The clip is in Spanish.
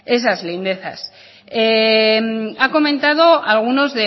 esas lindezas ha comentado algunos